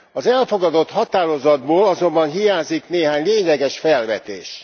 Az elfogadott határozatból azonban hiányzik néhány lényeges felvetés.